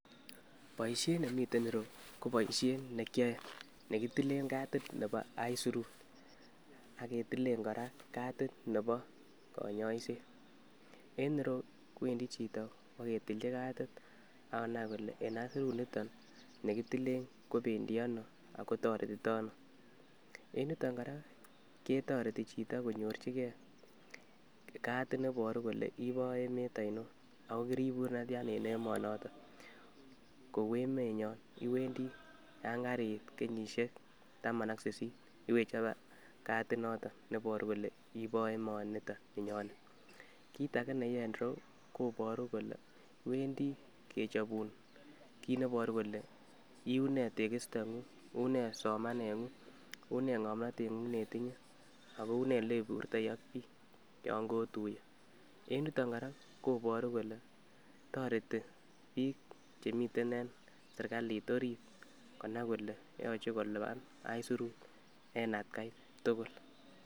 Boishet nemiten ireyuu ko boishet nekiyoe nekitilen katit nebo aisurut ak ketilen koraa katit nebo konyoset, en ireyuu kwendii chito iboketilji katit ak konai kole en aisurut niton nekitilen kobendii ono ako toretito ono. En yuton koraa ketoreti chito konyorchigee kati nebor kole ibo emet oinon ako kiribur netian en emonoton, kou emenyon iwendii yon keriit kenyishek taman ak sisit iwechobe kati noton neboru kole ibo emoniton ninyone. kit age nekiyoe ireyuu koboru kole iwendii kechobun kit neiboru kole iunee tekisto ngung, unee somanengung, unee ngomnotengung neitinye, ako unee yeiburtoi ak bik yon kotuyee. En yuton koraa koboru kole toreti bik chemiten en sirkalit orit konai kole nyolu kolipan aisurut en atgai tukul.